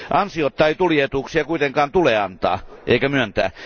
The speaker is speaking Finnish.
Ansiotta ei tullietuuksia kuitenkaan tule antaa eikä myöntää.